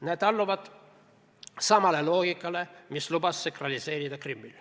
Need alluvad samale loogikale, mis lubas sakraliseerida Krimmi.